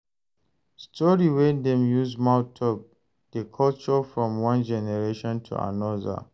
Story wey dem use mouth talk dey culture from one generation to anoda